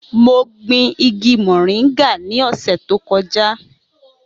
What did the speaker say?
Mo gbin igi moringa ní ọ̀sẹ̀ tó kọjá.